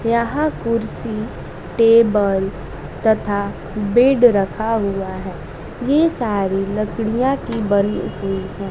यहां कुर्सी टेबल तथा बेड रखा हुआ है ये सारी लकड़ियां की बनी हुई है।